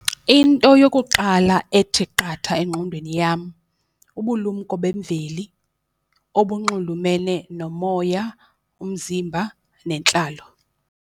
Into yokuqala ethi qatha engqondweni yam, ubulumko bemveli obunxulumene nomoya, umzimba, nentlalo.